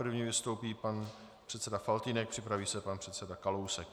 První vystoupí pan předseda Faltýnek, připraví se pan předseda Kalousek.